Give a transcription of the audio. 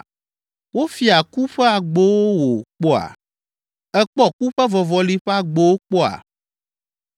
Wofia ku ƒe agbowo wò kpɔa? Èkpɔ ku ƒe vɔvɔli ƒe agbowo kpɔa?